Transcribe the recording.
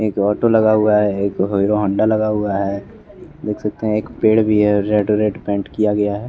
एक ऑटो लगाया हुआ है एक हीरो हौंडा लगा हुआ है देख सकते हैं एक पेड़ भी है रेड रेड पेंट किया गया है।